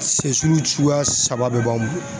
Sɛsiw suguya saba bɛɛ ban